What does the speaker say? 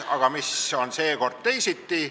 Aga mis on seekord teisiti?